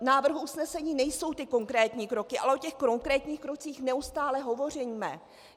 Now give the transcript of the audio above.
V návrhu usnesení nejsou ty konkrétní kroky, ale o těch konkrétních krocích neustále hovoříme.